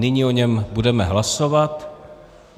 Nyní o něm budeme hlasovat.